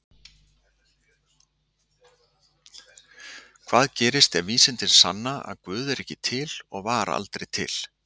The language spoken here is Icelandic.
Hvað gerist ef vísindin sanna að Guð er ekki til og var aldrei til?